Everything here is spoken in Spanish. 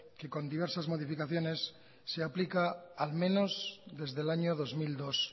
que con diversas modificaciones se aplica al menos desde el año dos mil dos